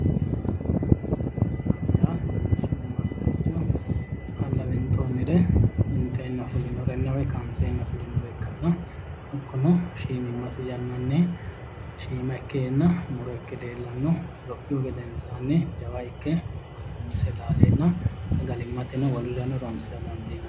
Muronna shiimadaricho xaalla winxonire ,winxenna fulinorenna kaanisenna fulinore ikkanno hakkuno shiimimmasi yannanni shiima ikkenna muro ikke leellano lophihu gedensanni jawa ikke misse laalenna sagalimate wolurirano horonsira dandiinanni